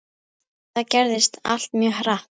Eftir það gerðist allt mjög hratt.